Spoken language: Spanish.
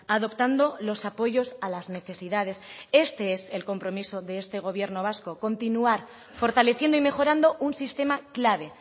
adoptando los apoyos a las necesidades este es el compromiso de este gobierno vasco continuar fortaleciendo y mejorando un sistema clave